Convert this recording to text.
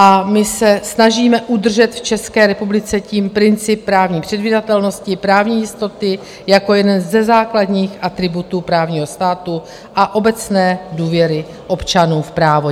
A my se snažíme udržet v České republice tím princip právní předvídatelnosti, právní jistoty jako jeden ze základních atributů právního státu a obecné důvěry občanů v právo.